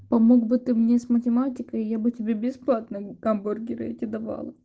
помог бы ты мне с математикой я бы тебе бесплатно гамбургеры эти давала